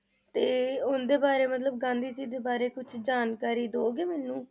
ਤੇ ਉਨ੍ਹਾਂ ਦੇ ਬਾਰੇ ਮਤਲਬ ਗਾਂਧੀ ਜੀ ਦੇ ਬਾਰੇ ਕੁਛ ਜਾਣਕਾਰੀ ਦਓਗੇ ਮੈਨੂੰ?